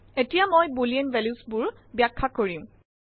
এতিয়া মই boolean values বোৰ বাখ্যা কৰিম